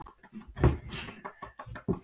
En í stífri norðanátt fer maður ekkert út.